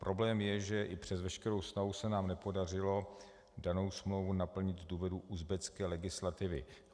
Problém je, že i přes veškerou snahu se nám nepodařilo danou smlouvu naplnit z důvodu uzbecké legislativy.